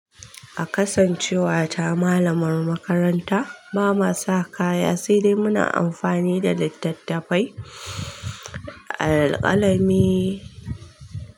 A kasancewata malamar makaranta, ba ma sa kaya sai dai muna amfani da littattafai alƙalami.